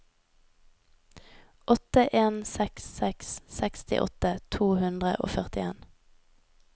åtte en seks seks sekstiåtte to hundre og førtien